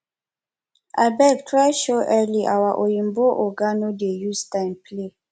abeg try show early our oyimbo oga no dey use time play